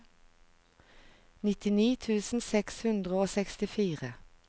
nitti tusen seks hundre og sekstifire